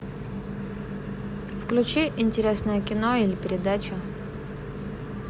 включи интересное кино или передачу